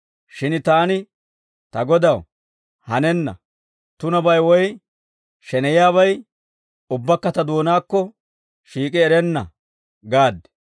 «Shin taani, ‹Ta Godaw, hanenna! Tunabay woy sheneyiyaabay ubbakka ta doonaakko shiik'i erenna› gaad.